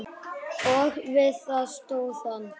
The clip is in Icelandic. Og við það stóð hann.